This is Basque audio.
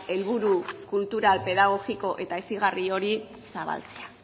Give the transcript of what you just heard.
helburu kultural pedagogiko eta hezigarri hori zabaltzea